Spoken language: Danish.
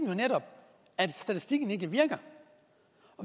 jo netop at statistikken ikke virker